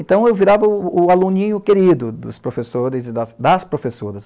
Então, eu virava o aluninho querido dos professores e das professoras.